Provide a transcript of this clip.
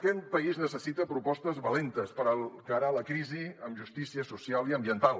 aquest país necessita propostes valentes per encarar la crisi amb justícia social i ambiental